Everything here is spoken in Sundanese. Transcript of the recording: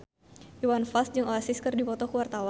Iwan Fals jeung Oasis keur dipoto ku wartawan